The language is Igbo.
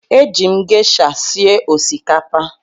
Eji m gesha sie osikapa a.